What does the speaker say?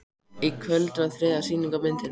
Í kvöld var þriðja sýning á myndinni